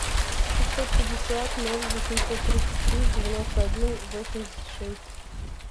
шестьсот пятьдесят ноль восемьсот тридцать три девяносто один восемьдесят шесть